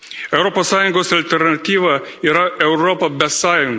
Europos Sąjungos alternatyva yra Europa be sąjungų.